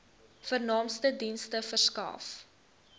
vernaamste dienste verskaf